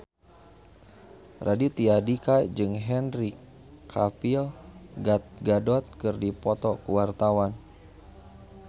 Raditya Dika jeung Henry Cavill Gal Gadot keur dipoto ku wartawan